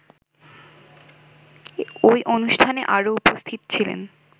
ওই অনুষ্ঠানে আরো উপস্থিত ছিলেন